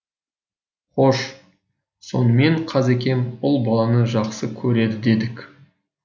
хош сонымен қазекем ұл баланы жақсы көреді дедік